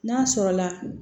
N'a sɔrɔla